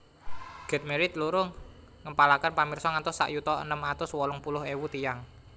Get Married loro ngempalaken pamirsa ngantos sak yuta enem atus wolung puluh ewu tiyang